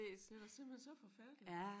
Det da simpelthen så forfærdeligt